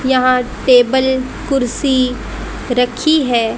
यहां टेबल कुर्सी रखी है।